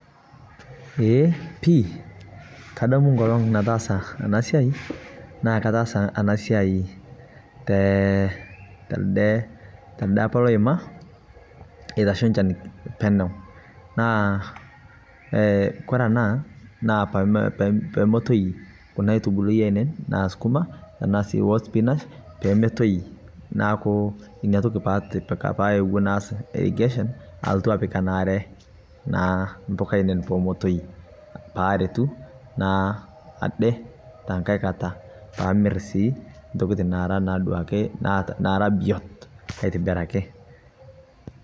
Eee pii kadam enkolong nataasa ena siai naa kataasa ena siai telde apa oima nitashe enchan penyo naa kore ena naa peemetoyu kuna aitubulu nijio sukuma ashu spinach neeku ina toki pee aewuo atipika [irrigation] alotu apik enare impuka ainei naa pee metoyu aretu naa ajo tenkai kata pee atum ntokitin naara naaa akeduo biot aitobiraki.